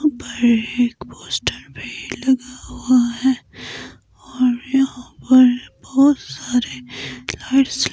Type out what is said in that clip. ऊपर एक पोस्टर भी लगा हुआ है और यहां पर बहुत सारे लाइट्स --